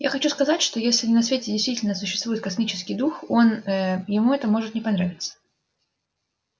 я хочу сказать что если на свете действительно существует космический дух он ээ ему это может не понравиться